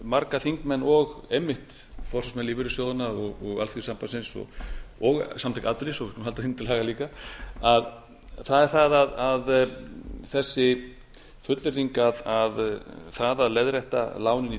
marga þingmenn og einmitt forustumenn lífeyrissjóðanna og alþýðusambandsins og samtök atvinnulífsins við skulum halda þeim til haga líka það er það að þessi fullyrðing að það að leiðrétta lánin í